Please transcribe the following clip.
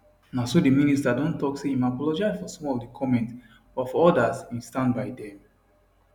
na so di minister don tok say im apologise for some of di comments but for odas im stand by dem